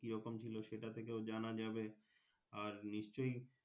কিরকম ছিল সেটা থেকেও জানা যাবে আর নিশ্চয়।